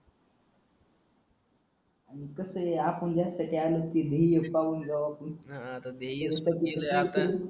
कस आहे आपण जास्त ध्येय स्ट्रॉंग ठेवायची हा हा आता ध्येय